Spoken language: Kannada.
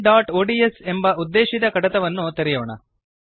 abcಒಡಿಎಸ್ ಎಂಬ ಉದ್ದೇಶಿತ ಕಡತವನ್ನು ತೆರೆಯೋಣ